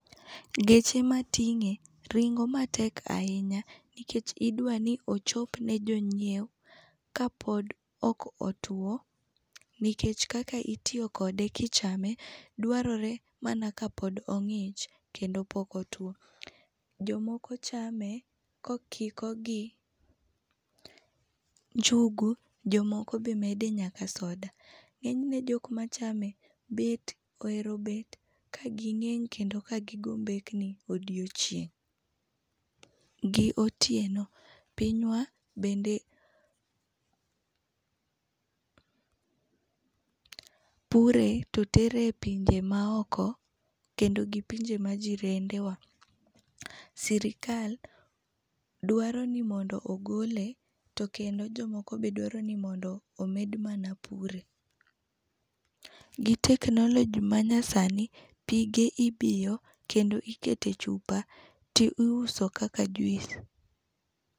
Geche ma ting'e ringo matek ahinya nikech idwa ni ochop ne jonyiewo kapod ok otuo nikech kaka itiyo kode ki ichame dwarore mana ka pod ong'ich kendo ka pok otuwo k ajo moko chame ka okike gi njugu jo moko be mede nyaka soda .Ng'enyne jo ma chame ohero bet ka gi ngeng' kedo ka gi go mbekni odiechieng, gi otieno pinywa bende pinywa bende pure to tere e pinje maoko, kendo gi pinje ma jirende wa. Sirkal dwaro ni mondo ogole to kendo jo moko be dwaro ni omed mana pure. Gi teknoloji manyasani pige ibiyo kendo iketo e chupa ti iuso kaka juice.